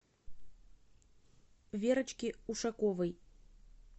верочке ушаковой